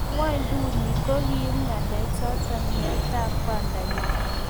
Eng ngwenduni, ko kiib ngalechoto meetab kwandanyi